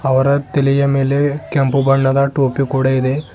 ಅವರ ತಲೆಯ ಮೇಲೆ ಕೆಂಪು ಬಣ್ಣದ ಟೋಪಿ ಕೂಡ ಇದೆ.